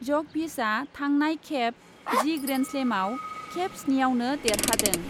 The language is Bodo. जकभिचआ थांनाय खेब जि ग्रेन्डस्लेमआव खेब स्निआवनो देरहादों।